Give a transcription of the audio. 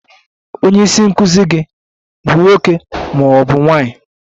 Onye isi nkụzi gị bụ nwoke ma ọ bụ nwanyị?